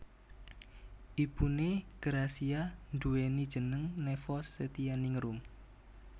Ibuné Gracia nduweni jeneng Nevos Setyaningrum